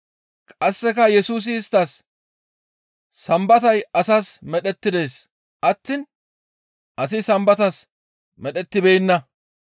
Qasseka Yesusi isttas, «Sambatay asas medhettides attiin asi Sambatas medhettibeenna.